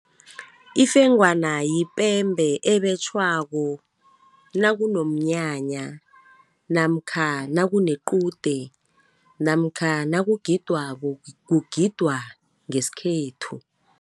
Ifengwana yipembe ebetjhwako nakunomnyanya, namkha nakunequde, namkha nakugidwako, kugidwa ngeskhethu.